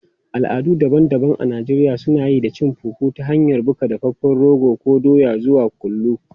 Al'adu daban-daban a Najeriya suna yi da cin fufu ta hanyar buga dafaffen rogo ko doya zuwa kullu.